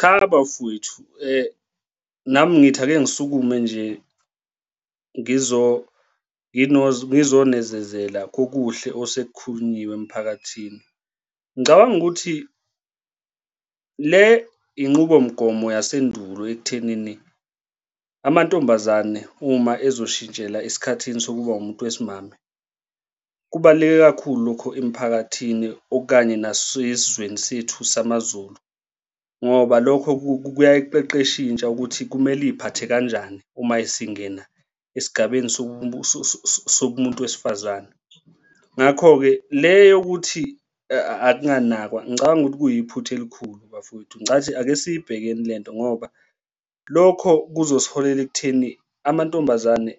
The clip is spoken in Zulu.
Cha, bafwethu nami ngithi ake ngisukume nje ngizonezezela kokuhle osekukhulunyiwe emphakathini. Ngicabanga ukuthi, le inqubo mgomo yasendulo ekuthenini amantombazane uma ezoshintshela esikhathini sokuba umuntu wesimame kubaluleke kakhulu lokho emphakathini okanye nasezweni sethu samaZulu, ngoba lokho kuyayiqeqesha intsha ukuthi kumele iy'phathe kanjani uma isingena esigabeni sokumuntu wesifazane. Ngakho-ke le yokuthi akunganakwa ngicabanga ukuthi kuyiphutha elikhulu bafowethu, ncathi ake siyibhekene lento ngoba lokho kuzosiholela ekutheni amantombazane